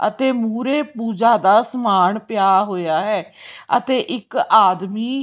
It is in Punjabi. ਅਤੇ ਮੂਹਰੇ ਪੂਜਾ ਦਾ ਸਮਾਨ ਪਿਆ ਹੋਇਆ ਹੈ ਅਤੇ ਇੱਕ ਆਦਮੀ--